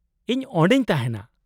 -ᱤᱧ ᱚᱸᱰᱮᱧ ᱛᱟᱦᱮᱸᱱᱟ ᱾